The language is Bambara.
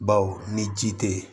Baw ni ji te yen